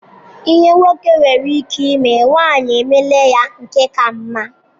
Ihe nwoke nwere ike ime, nwanyị emeela ya nke ka mma.